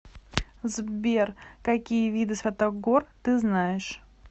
сбер какие виды святогор ты знаешь